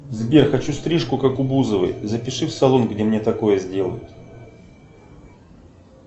сбер хочу стрижку как у бузовой запиши в салон где мне такое сделают